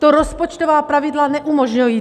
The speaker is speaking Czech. To rozpočtová pravidla neumožňují!